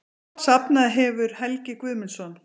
Safnað hefur Helgi Guðmundsson.